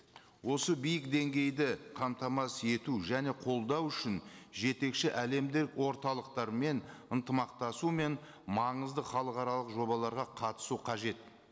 осы биік деңгейді қамтамасыз ету және қолдау үшін жетекші әлемдік орталықтармен ынтымақтасу мен маңызды халықаралық жобаларға қатысу қажет